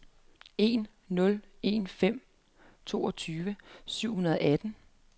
en nul en fem toogtyve syv hundrede og atten